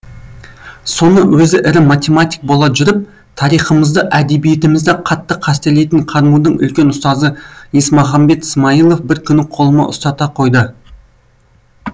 соны өзі ірі математик бола жүріп тарихымызды әдебиетімізді қатты қастерлейтін қарму дің үлкен ұстазы есмағамбет смайылов бір күні қолыма ұстата қойды